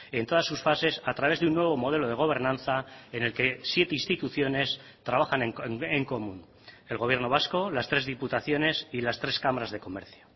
en todas sus fases a través de un nuevo modelo de gobernanza en el que siete instituciones trabajan en común el gobierno vasco las tres diputaciones y las tres cámaras de comercio